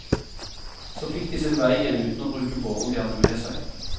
Så fikk de sin vei igjen uten å bruke båren de hadde med seg.